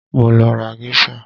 Mo lọ ra Geisha